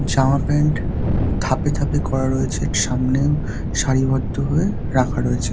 জামা প্যান্ট থাপে থাপে করা রয়েছে একটু সামনে সারিবদ্ধ হয়ে রাখা রয়েছে।